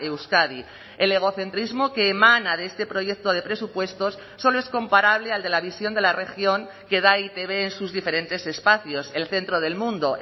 euskadi el egocentrismo que emana de este proyecto de presupuestos solo es comparable al de la visión de la región que da e i te be en sus diferentes espacios el centro del mundo